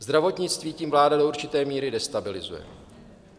Zdravotnictví tím vláda do určité míry destabilizuje.